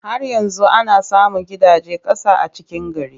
Har yanzu ana samun gidajen ƙasa a cikin gari.